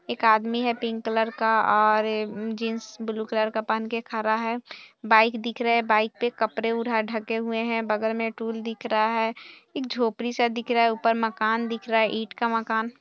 एक आदमी है पिंक कलर का और जींस ब्लू कलर का पहन कर खड़ा है बाइक दिख रहे हैं बाइक पे कपड़े उर ढके हुए है बगल में टूल दिख रहा है एक झोपड़ी सा दिख रहा है ऊपर मकान दिख रहा है ईट का मकान।